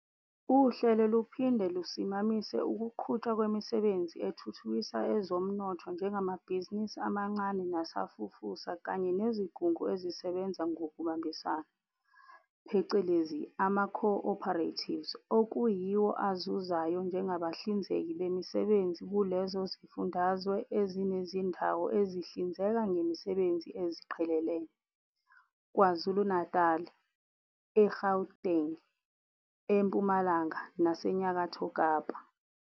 Uhlelo luphinde lusimamise ukuqhutshwa kwemisebenzi ethuthukisa ezomnotho njengamabhizinisi amancane nasafufusa kanye nezigungu ezisebenza ngokubambisana, phecelezi ama-co-operatives okuyiwo azuzayo njengabahlinzeki bemisebenzi kulezo zifundazwe ezinezindawo ezihlinzeka ngemisebenzi eziqhelelene, KwaZulu-Natali, eGauteng, eMpumalanga naseNyakatho Kapa.